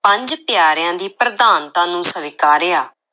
ਪੰਜ ਪਿਆਰਿਆਂ ਦੀ ਪ੍ਰਧਾਨਤਾ ਨੂੰ ਸਵੀਕਾਰਿਆ।